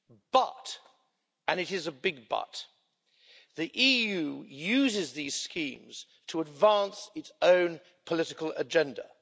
But and it is a big but the EU uses these schemes to advance its own political agenda.